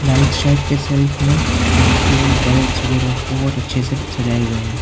Right side के shelf में पंखे बल्ब्स वगैरा बहुत अच्छे से सजाए हुए हैं।